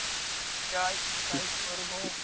যা ইচ্ছা তাই কর গো।